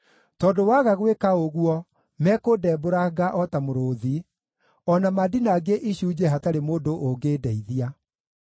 tondũ waga gwĩka ũguo mekũndembũranga o ta mũrũũthi, o na mandinangie icunjĩ hatarĩ mũndũ ũngĩndeithia.